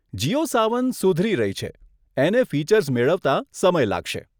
જીઓ સાવન સુધરી રહી છે, એને ફીચર્સ મેળવતા સમય લાગશે.